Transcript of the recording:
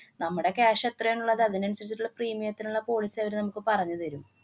നമ്മുടെ cash എത്രയാണുള്ളത് അതിനനുസരിച്ചിട്ടുള്ള premium ത്തിനുള്ള policy അവര് നമ്മക്ക് പറഞ്ഞുതരും.